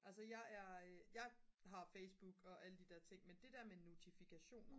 altså jeg er jeg har Facebook og alle de der ting men det der med notifikationer